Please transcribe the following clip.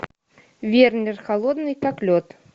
вернер холодный как лед